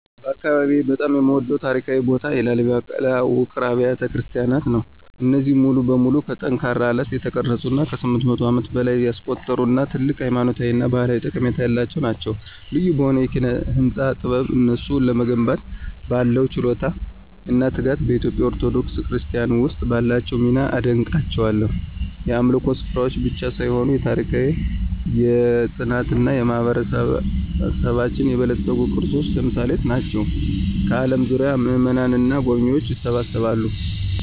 በአካባቢዬ በጣም የምወደድበት ታሪካዊ ቦታ የላሊበላ ውቅር አብያተ ክርስቲያናት ነው። እነዚህ ሙሉ በሙሉ ከጠንካራ አለት የተቀረጹት ከ800 ዓመታት በላይ ያስቆጠሩ እና ትልቅ ሃይማኖታዊ እና ባህላዊ ጠቀሜታ ያላቸው ናቸው። ልዩ በሆነው የኪነ-ህንፃ ጥበብ፣ እነሱን ለመገንባት ባለው ችሎታ እና ትጋት፣ በኢትዮጵያ ኦርቶዶክስ ክርስትና ውስጥ ባላቸው ሚና አደንቃቸዋለሁ። የአምልኮ ስፍራዎች ብቻ ሳይሆኑ የታሪክ፣ የፅናት እና የማህበረሰባችን የበለፀጉ ቅርሶች ተምሳሌት ናቸው፣ ከአለም ዙሪያ ምእመናንን እና ጎብኝዎችን ይስባሉ።